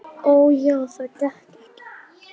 Og já, það gekk ekki.